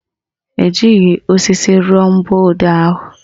Ejighị osisi rụọ mgbọodee ahụ